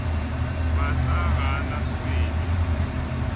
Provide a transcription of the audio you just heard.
masa ga a na swele